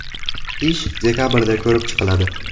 Ish dekabrda ko‘rib chiqiladi.